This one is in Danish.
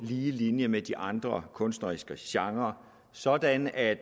lige linje med de andre kunstneriske genrer sådan at